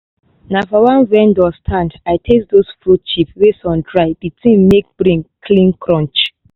na for one vendor stand i taste those fruit chips wey sun dry the thing make brain clean crunch